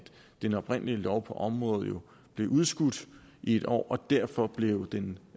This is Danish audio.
den oprindelige lov på området blev udskudt i et år og derfor blev den